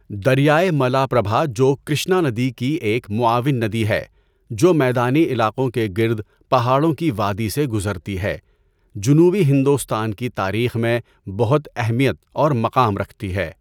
دریائے ملاپربھا جو کرشنا ندی کی ایک معاون ندی ہے جو میدانی علاقوں کے گِرد پہاڑوں کی وادی سے گزرتی ہے، جنوبی ہندوستان کی تاریخ میں بہت اہمیت اور مقام رکھتی ہے۔